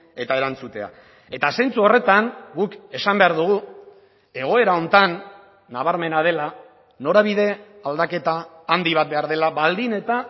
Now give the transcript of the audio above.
eta erantzutea eta zentzu horretan guk esan behar dugu egoera honetan nabarmena dela norabide aldaketa handi bat behar dela baldin eta